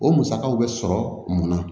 O musakaw bɛ sɔrɔ mun na